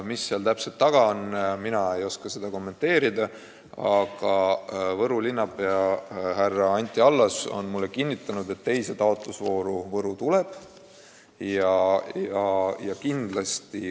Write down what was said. Mis seal täpselt taga on, mina ei oska kommenteerida, aga Võru linnapea Anti Allas on mulle kinnitanud, et teises taotlusvoorus Võru osaleb.